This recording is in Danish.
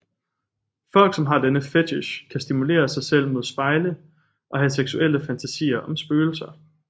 Folk som har denne fetich kan stimulere sig selv mod spejle og have seksuelle fantasier om spøgelser